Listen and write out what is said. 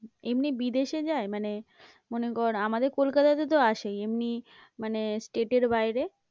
এমনি বিদেশে যায়? মানে মনে কর আমাদের কলকাতাতে তো আসেই, এমনি মানে state এর বাইরে?